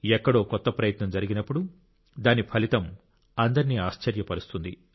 ఎక్కడో కొత్త ప్రయత్నం జరిగినప్పుడు దాని ఫలితం అందరినీ ఆశ్చర్యపరుస్తుంది